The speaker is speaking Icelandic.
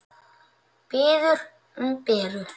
Biður um Beru.